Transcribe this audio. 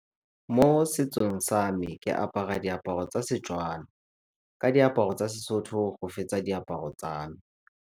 Mo setsong sa me ke apara diaparo tsa Setswana ka diaparo tsa seSotho go fetsa diaparo tsa me.